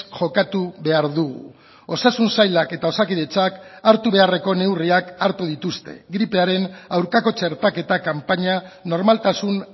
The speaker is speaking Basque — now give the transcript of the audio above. jokatu behar dugu osasun sailak eta osakidetzak hartu beharreko neurriak hartu dituzte gripearen aurkako txertaketa kanpaina normaltasun